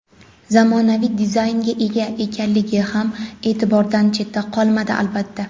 zamonaviy dizaynga ega ekanligi ham e’tibordan chetda qolmadi, albatta.